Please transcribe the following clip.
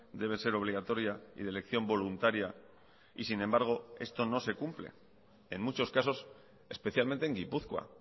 debe ser obligatoria y de elección voluntaria y sin embargo esto no se cumple en muchos casos especialmente en gipuzkoa